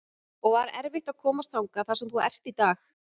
og var erfitt að komast þangað þar sem þú ert í dag?